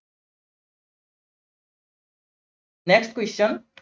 next question